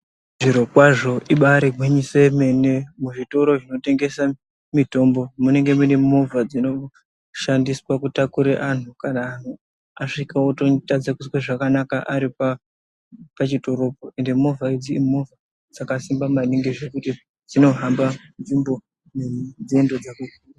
Zviro kwazvo ibari gwinyiso yemene muzvitoro zvinotengesa mutombo munenge mune movha dzinosgandiswa kutakure antu kana anhu asvika ototadze kuzwe zvakanaka ari pa pachitorocho ende movha idzi imovha dzakasimba maningi zvekuti dzinohamba nzvimbo nenzendo dzakaku.